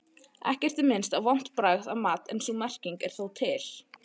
Ekkert er minnst á vont bragð af mat en sú merking er þó til.